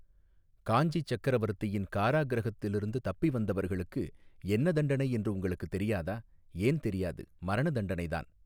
காஞ்சி சக்கரவர்த்தியின் காராகிருஹத்திலிருந்து தப்பி வந்தவர்களுக்கு என்ன தண்டனை என்று உங்களுக்குத் தெரியாதா ஏன் தெரியாது மரண தண்டனைதான்.